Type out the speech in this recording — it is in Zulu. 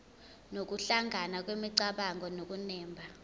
nokuhlangana kwemicabango nokunemba